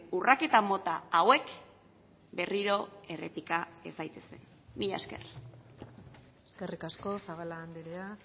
urraketa mota hauek berriro errepika ez daitezen mila esker eskerrik asko zabala andrea